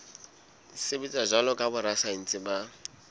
sebetsa jwalo ka borasaense ba